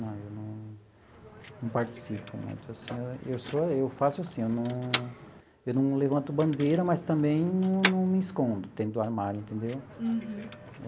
Não, eu não não participo muito assim, eu eu sou eu faço assim, eu não eu não levanto bandeira, mas também não não me escondo dentro do armário, entendeu?